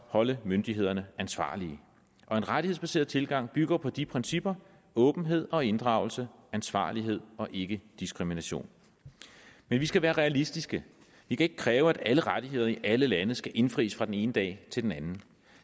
holde myndighederne ansvarlige en rettighedsbaseret tilgang bygger på de principper åbenhed og inddragelse ansvarlighed og ikkediskrimination men vi skal være realistiske vi kan ikke kræve at alle rettigheder i alle lande skal indfries fra den ene dag til den anden